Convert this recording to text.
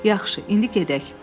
Yaxşı, indi gedək.